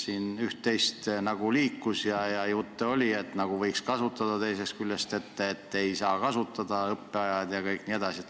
Siin üht-teist nagu liikus ja jutte oli, et võiks kasutada, teisest küljest ei saa kasutada, et õppeajad jne.